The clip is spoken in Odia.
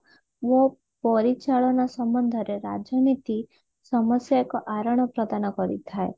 ଓ ପରିଚାଳନା ସମ୍ବନ୍ଧ ରେ ରାଜନୀତି ସମସ୍ଯା ଏକ ଆରଣ ପ୍ରଦାନ କରିଥାଏ